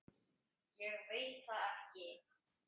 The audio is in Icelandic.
Ég veit það ekki!